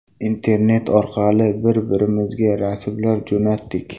Internet orqali bir-birimizga rasmlar jo‘natdik.